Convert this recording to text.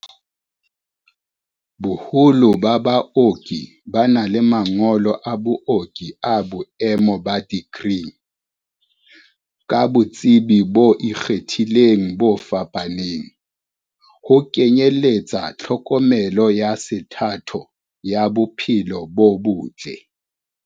Boholo ba baoki ba na le ma ngolo a booki a boemo ba dikri, ka botsebi bo ikgethileng bo fapaneng, ho kenyeletsa tlhokomelo ya sethatho ya bo phelo bo botle.